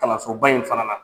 Kalansoba in fana na.